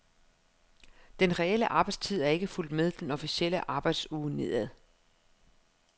Den reelle arbejdstid er ikke fulgt med den officielle arbejdsuge nedad.